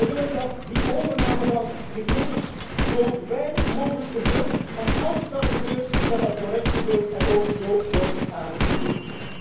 Wij willen dat die overname van gegevens zo weinig mogelijk gebeurt. En als het al gebeurt, dat het correct gebeurt en ook zo wordt aangegeven.